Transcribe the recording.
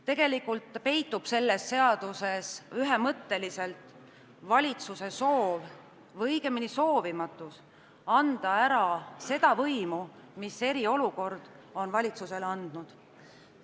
Tegelikult peitub selles eelnõus ühemõtteliselt valitsuse soovimatus anda ära seda võimu, mis eriolukord on talle andnud.